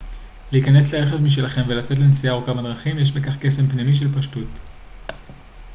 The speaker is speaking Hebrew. להיכנס לרכב משלכם ולצאת לנסיעה ארוכה בדרכים יש בכך קסם פנימי של פשטות